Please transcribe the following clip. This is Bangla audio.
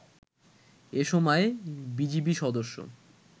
এ সময় বিজিবি সদস্য